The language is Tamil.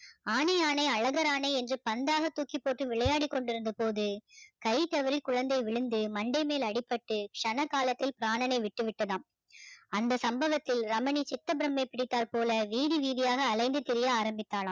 ஆனை ஆனை அழகாரானை என்று பந்தாக தூக்கிப்போட்டு விளையாடிக் கொண்டிருந்த போது காய் தவறி குழந்தை விழுந்து மண்டை மேல் அடிபட்டு சன காலத்தில் பிராணனை விட்டு விட்டதாம் அந்த சம்பவத்தில் ரமணி சித்த பிரம்மை பிடித்தாற் போல வீதி வீதியாக அலைந்து திரிய ஆரம்பித்தாளாம்